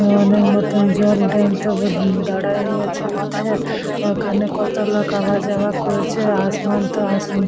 ম মনের মতন জল দাঁড়ায় নিয়েছে আছে। ওখানে কত লোক আবার যাওয়া করছে। আসমান তো উম--